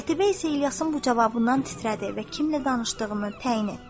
Qətibə isə İlyasın bu cavabından titrədi və kimlə danışdığını təyin etdi.